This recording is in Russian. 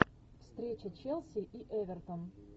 встреча челси и эвертон